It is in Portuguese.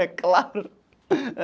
É claro.